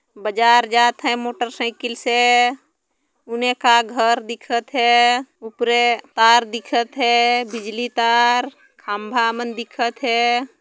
बाजार जाथे मोटरसाइकल से उनेका घर दिखत हे उपरे तार दिखत हे बिजली तार खम्बा मन दिखत हे।